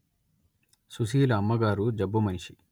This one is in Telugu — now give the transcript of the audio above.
సుశీల అమ్మగారు జబ్బు మనిషి